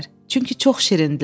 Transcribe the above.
Çünki çox şirindirlər.